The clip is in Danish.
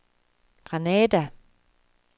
Granada